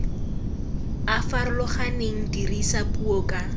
a farologaneng dirisa puo ka